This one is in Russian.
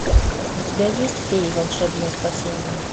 у тебя есть феи волшебное спасение